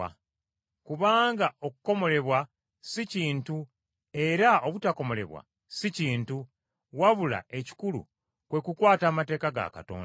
Kubanga okukomolebwa si kintu era obutakomolebwa si kintu, wabula ekikulu kwe kukwata amateeka ga Katonda.